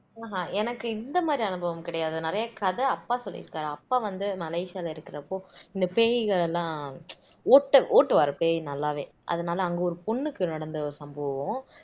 ஆஹ் எனக்கு இந்த மாதிரி அனுபவம் கிடையாது நிறைய கதை அப்பா சொல்லியிருக்காரு அப்பா வந்து மலேசியால இருக்குறப்போ இந்த பேய்களை எல்லாம் ஓட்ட ஓட்டுவாரு பேயி நல்லாவே அதனால அங்க ஒரு பொண்ணுக்கு நடந்த ஒரு சம்பவம்